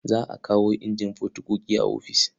Za a kawo injin fotokofi a ofis.